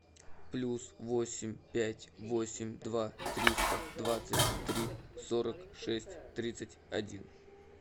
плюс восемь пять восемь два триста двадцать три сорок шесть тридцать один